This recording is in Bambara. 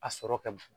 A sɔrɔ ka bon